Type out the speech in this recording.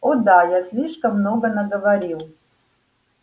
о да я слишком много наговорил